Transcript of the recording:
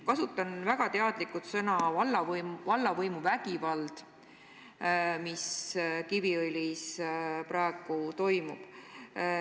Kasutan väga teadlikult sõnu "vallavõimu vägivald" selle kohta, mis Kiviõlis praegu toimub.